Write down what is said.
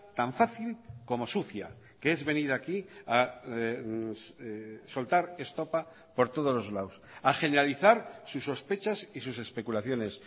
tan fácil como sucia que es venir aquí a soltar estopa por todos los lados a generalizar sus sospechas y sus especulaciones